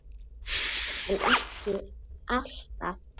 en ekki alltaf